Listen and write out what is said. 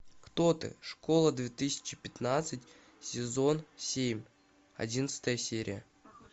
кто ты школа две тысячи пятнадцать сезон семь одиннадцатая серия